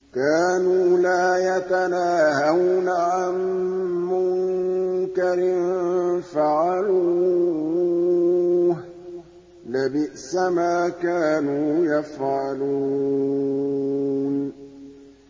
كَانُوا لَا يَتَنَاهَوْنَ عَن مُّنكَرٍ فَعَلُوهُ ۚ لَبِئْسَ مَا كَانُوا يَفْعَلُونَ